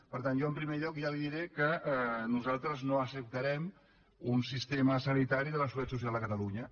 per tant jo en primer lloc ja li diré que nosaltres no acceptarem un sistema sanitari de la seguretat social a catalunya